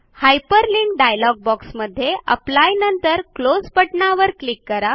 hyperlink dialog box मध्ये apply नंतर close बटणावर क्लिक करा